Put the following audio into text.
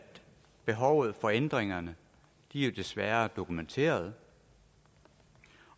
behovet for ændringerne jo desværre er dokumenteret